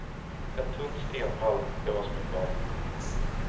Ett tunt stenvalv är vad som är kvar.